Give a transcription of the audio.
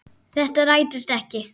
Þetta rættist ekki.